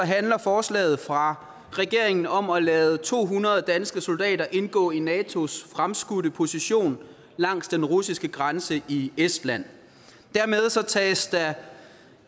handler forslaget fra regeringen om at lade to hundrede danske soldater indgå i natos fremskudte position langs den russiske grænse i estland dermed tages der